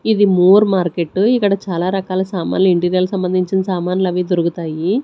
ఇది more market ఇక్కడ చాలా రకాల సామాన్లు ఇంటీరియల్ సంబంధించిన సామాన్లు అవి దొరుకుతాయి.